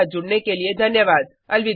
हमारे साथ जुड़ने के लिये धन्यवाद